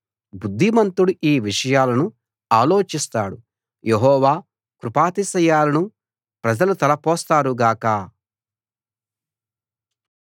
బుద్ధిమంతుడు ఈ విషయాలను ఆలోచిస్తాడు యెహోవా కృపాతిశయాలను ప్రజలు తలపోస్తారు గాక